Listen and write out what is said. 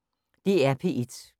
DR P1